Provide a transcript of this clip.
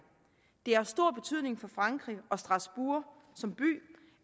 det har stor betydning for frankrig og for strasbourg som by